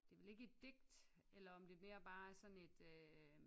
Det er vel ikke et digt eller om det mere bare er sådan et øh